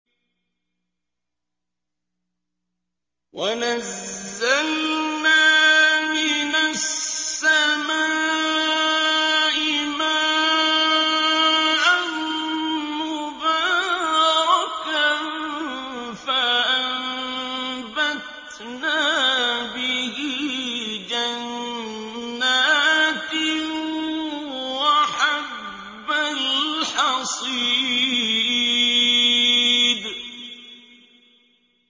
وَنَزَّلْنَا مِنَ السَّمَاءِ مَاءً مُّبَارَكًا فَأَنبَتْنَا بِهِ جَنَّاتٍ وَحَبَّ الْحَصِيدِ